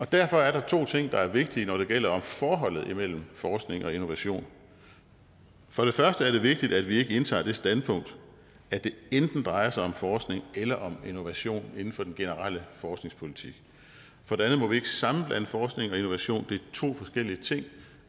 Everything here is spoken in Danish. derfor er der to ting der er vigtige når det gælder forholdet imellem forskning og innovation for det første er det vigtigt at vi ikke indtager det standpunkt at det enten drejer sig om forskning eller om innovation inden for den generelle forskningspolitik for det andet må vi ikke sammenblande forskning og innovation et to forskellige ting